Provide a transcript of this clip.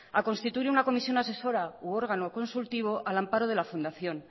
a constituir una comisión asesora u órgano consultivo al amparo de la fundación